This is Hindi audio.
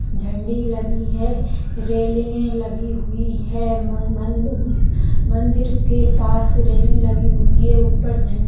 झंडी लगी हुई है रेलिंगे लगी हुई है मंदिर के पास रेलिंग लगी हुई है ऊपर झ --